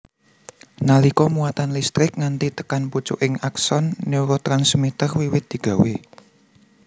Nalika muatan listrik nganti tekan pucuking akson neurotransmiter wiwit digawé